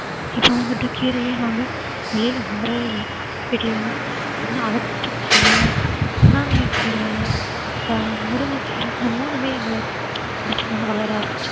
இப்ப வந்துட்டு கீரையே நாங்க வெளியில வாங்கறதே இல்ல வீட்டிலேயே தான் இன்னும் அகத்திக்கீரை, பொன்னாங்கண்ணிக் கீரை அப்புறம் முருங்கைக்கீரை இந்த மூணுமே எங்க இடத்துல வந்து வளர ஆரம்பிச்சிடுச்சு